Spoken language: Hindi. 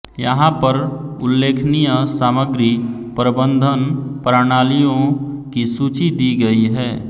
यहाँ पर उल्लेखनीय सामग्री प्रबन्धन प्राणालियों की सूची दी गयी है